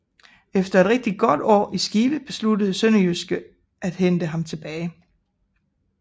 Efter et rigtig godt år i Skive besluttede SønderjyskE at hente ham tilbage